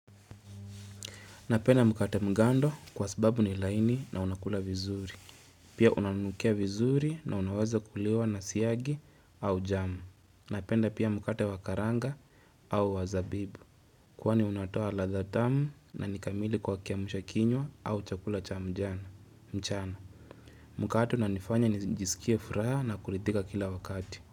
Napenda mkate mgando kwa sababu ni laini na unakula vizuri. Pia unanukia vizuri na unaweza kuliwa nasiagi au jamu. Napenda pia mkate wakaranga au wazabibu. Kwani unatoa ladhaa tamu na nikamili kwa kiamsha kinywa au chakula cha mchana. Mkate unanifanya nijisikia furaha na kuridhika kila wakati.